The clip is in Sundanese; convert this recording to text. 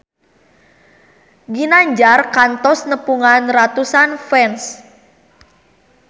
Ginanjar kantos nepungan ratusan fans